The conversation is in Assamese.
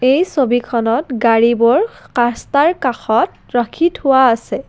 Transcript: এই ছবিখনত গাড়ীবোৰ খা কাস্তাৰ কাষত ৰাখি থোৱা আছে।